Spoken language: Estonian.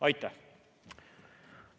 Aitäh!